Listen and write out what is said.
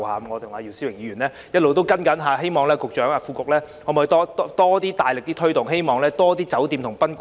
我與姚思榮議員其實一直在跟進，希望局長和副局長考慮加大力度推動，亦希望更多酒店和賓館參與。